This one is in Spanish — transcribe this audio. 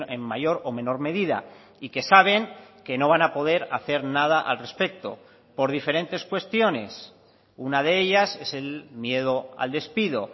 en mayor o menor medida y que saben que no van a poder hacer nada al respecto por diferentes cuestiones una de ellas es el miedo al despido